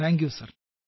thank you sir